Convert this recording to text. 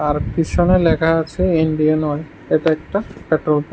তার পিসনে লেখা আছে ইন্ডিয়ান অয়েল এটা একটা পেট্রোল পা--